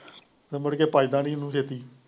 ਫਿਰ ਮੁੜ ਕੇ ਪੱਚਦਾ ਨੀ ਉਨੂੰ ਛੇਤੀ।